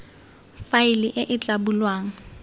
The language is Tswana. faele e e tla bulwang